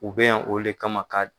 U be yan olu de kama ka